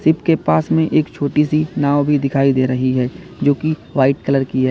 इसके पास में एक छोटी सी नाव भी दिखाई दे रही है जो की व्हाइट कलर की ह--